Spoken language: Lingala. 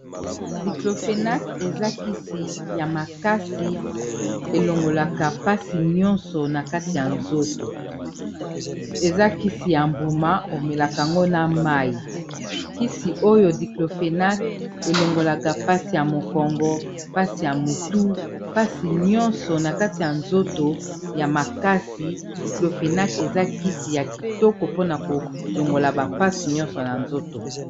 Diclofenac eza kisi ya makasi elongolaka pasi nyonso na kati ya nzoto, eza kisi ya mbuma o melaka ngo na mayi. Kisi oyo Diclofenac elongolaka pasi ya mokongo pasi ya motu mpasi nyonso na kati ya nzoto ya makasi Diclofenac eza kisi ya kitoko mpona kolongola ba pasi nyonso na nzoto.